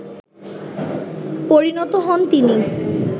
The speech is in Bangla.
পরিণত হন তিনি